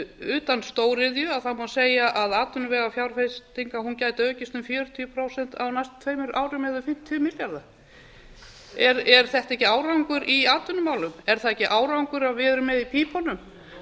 utan stóriðju má segja að atvinnuvegafjárfesting gæti aukist um fjörutíu prósent á næstu tveimur árum eða um fimmtíu milljarða er þetta ekki árangur í atvinnumálum er það ekki árangur að við erum með í pípunum